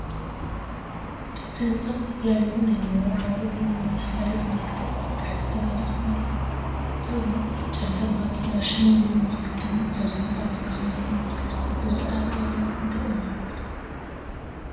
እቲ ህንጻ ዝተፈላለዩ ናይ መወዓውዒ ወይ መፋለጢ ምልክታትን ኣብ ታሕቲ ተገሊጾም ኣለዉ። ኣብዚ፡ 'ጨንፈር ባንኪ ዳሸን 'ዝብል ምልክት ድማ ኣብዚ ህንጻ ባንኪ ከምዘሎ ዘመልክት እዩ። እዚ ኣረኣእያ እዚ እንታይ እዩ ዝውክል፧